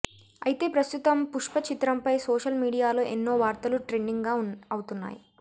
అయితే ప్రస్తుతం పుష్ప చిత్రంపై సోషల్ మీడియాలో ఎన్నో వార్తలు ట్రెండింగ్ అవుతున్నాయి